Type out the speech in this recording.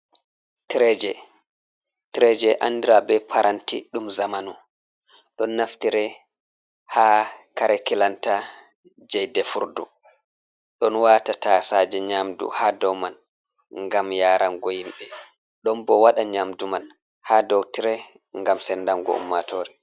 Tireje. Tireje andira be paranti ɗum zamanu. Ɗon naftire ha kare kilanta je defirdu, ɗon wata tasaje nyamdu ha dow mai ngam yarango himbe, Ɗon bo waɗa nyamdu man ha dow tire ngam sendango ummatore.